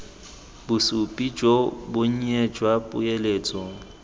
bosupi jo bonnye jwa poeletso